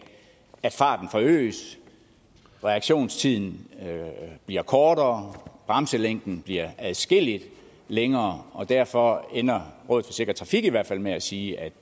at farten forøges at reaktionstiden bliver kortere at bremselængden bliver adskilligt længere derfor ender rådet for sikker trafik i hvert fald med at sige at